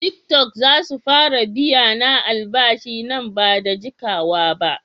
Tiktok zasu fara biyana albashi nan bada jikawaba.